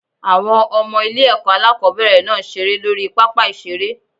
Àwọn Ọmọ ilé èkó alákòóbèrè náà n seré lórí I pápá ìseré